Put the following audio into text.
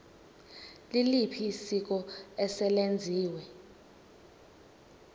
liliphi isiko eselenziwe